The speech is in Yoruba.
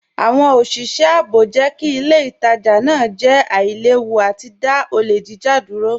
Awọn oṣiṣẹ ààbò jẹ́ kí ilẹ̀ ìtajà naa jẹ́ àìlèwú àti dá ọlẹ̀ jíjà dúró.